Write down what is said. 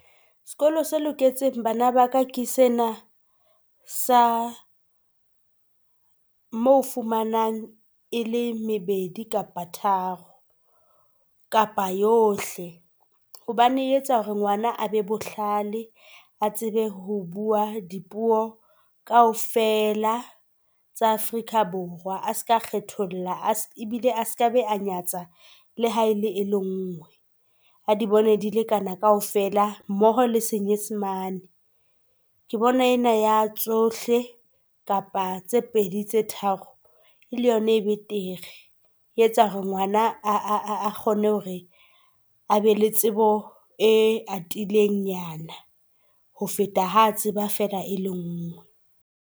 Sekolo se loketseng bana baka ke sena sa mo fumanang e le mebedi kapa tharo, kapa yohle hobane etsa hore ngwana a be bohlale, a tsebe ho bua dipuo kaofela tsa Afrika Borwa a seka, kgetholla be a nyatsa ha ele e le ngwe, a di bone di lekana kaofela mmoho le Senyesemane. Ke bona ena ya tsohle kapa tse pedi tse tharo le yona ele yona e betere. E etsa hore ngwana a kgone hore a be le tsebo e atilengnyana ho feta ha tseba fela e le nngwe.